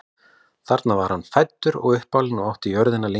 þar var hann fæddur og uppalinn og átti jörðina síðan lengi